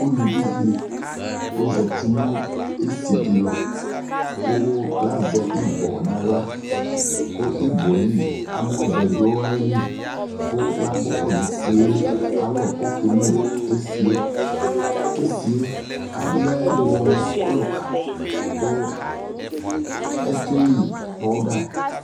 ʋlʋvi di ɔzati nʋ ɛsii di lʋ kʋlazɛ ibɔ nʋ ala kʋ ibɔɛ li, amɔ vɛ dʋ ayili kʋ lagbɔkɔ nʋ ɛsiiɛ alɔ kʋ ɔkɛlʋ ɛsiiɛ, ɛsiiɛ alɛmʋ ɔlʋka kʋ ɛtwɛi powder